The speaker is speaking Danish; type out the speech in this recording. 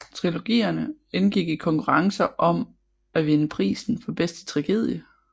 Trilogierne indgik i konkurrencer om at vinde prisen for bedste tragedie